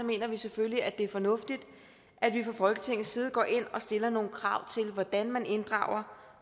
mener vi selvfølgelig at det er fornuftigt at vi fra folketingets side går ind og stiller nogle krav til hvordan man inddrager